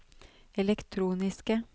elektroniske